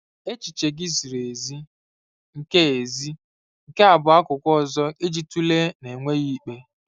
Echiche gị ziri ezi; nke a ezi; nke a bụ akụkụ ọzọ iji tụlee na-enweghị ikpe.